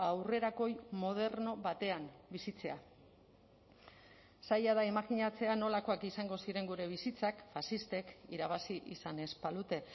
aurrerakoi moderno batean bizitzea zaila da imajinatzea nolakoak izango ziren gure bizitzak faxistek irabazi izan ez balute